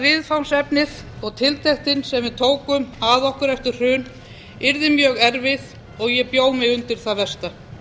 viðfangsefnið og tiltektin sem við tókum að okkur eftir hrun yrði mjög erfið og ég bjó mig undir það versta